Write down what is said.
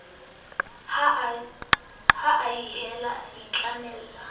ha a hele a itlamele